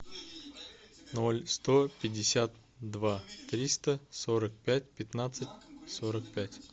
ноль сто пятьдесят два триста сорок пять пятнадцать сорок пять